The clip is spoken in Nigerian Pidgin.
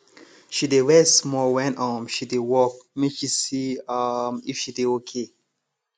she dey rest small when um she dey work make she see um if she dey okay